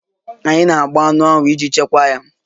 Anyị na-agba anụ ahụ iji chekwaa ya